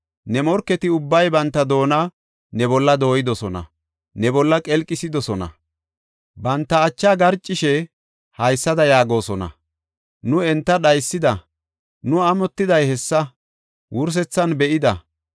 Ne morketi ubbay banta doona ne bolla dooyidosona; ne bolla qelqisidosona. Banta achaa qarcishe haysada yaagosona; nu enta dhaysida, nu amotiday hessa wursethan be7ida.